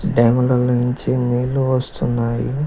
Dam లో నుంచి నీళ్లు వస్తున్నాయి.